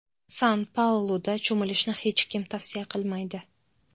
San-Pauluda cho‘milishni hech kim tavsiya qilmaydi.